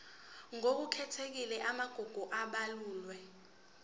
ngokukhethekile amagugu abalulwe